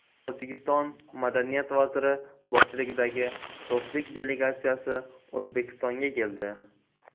Tojikiston madaniyat vaziri boshchiligidagi do‘stlik delegatsiyasi O‘zbekistonga keldi.